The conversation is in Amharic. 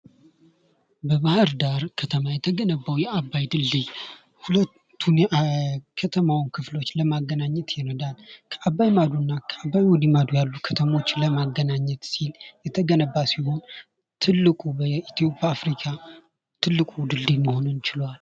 በባህርዳር ከተማ የተገነባው የአባይ ድልድይ ሁለቱን የከተሞች ክፍሎች ለማገናኘት ይረዳል አባይ ማዶና ወዲህ ማዶ ያሉ ከተሞችን ለማገናኘት ሲል የተገነባው በአፍሪካ የተገነባው ትልቁ ድልድይ መሆንም ችሏል።